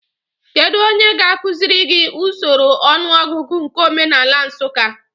Kedụ onye ga-akụziri gị usoro ọnụọgụgụ nke omenaala Nsụka?